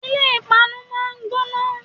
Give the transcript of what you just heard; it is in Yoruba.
Ilé páànù máa ń gbóná